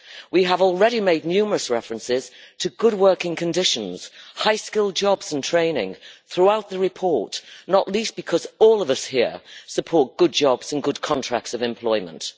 We have already made numerous references to good working conditions, high skill jobs and training throughout the report, not least because all of us here support good jobs and good contracts of employment.